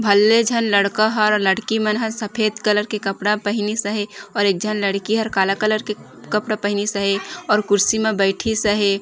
भलले झन लड़का हर लड़की मन ह सफेद कलर के कपड़ा पहनिस हे और एक झन लड़की हर काला कलर के कपड़ा पहनिस हे और कुर्सी म बैठि स हे ।